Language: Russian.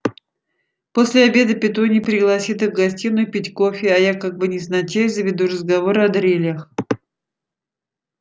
после обеда петунья пригласит их в гостиную пить кофе а я как бы невзначай заведу разговор о дрелях